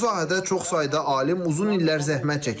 Bu sahədə çox sayda alim uzun illər zəhmət çəkib.